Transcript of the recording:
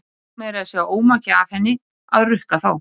Ég tók meira að segja ómakið af henni að rukka þá.